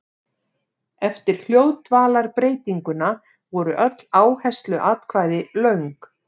Eftir hljóðdvalarbreytinguna voru öll áhersluatkvæði löng.